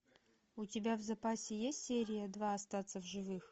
у тебя в запасе есть серия два остаться в живых